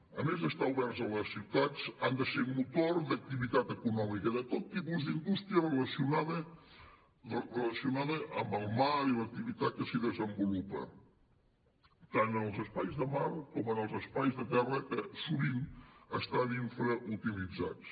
a més d’estar oberts a les ciutats han de ser motor d’activitat econòmica de tot tipus d’indústria relacionada amb el mar i l’activitat que s’hi desenvolupa tant als espais de mar com en els espais de terra que sovint estan infrautilitzats